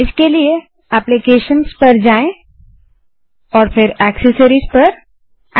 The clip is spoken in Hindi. इसके लिए एप्लीकेशंस पर जाएँ और फिर एक्सेसरिस पर जाएँ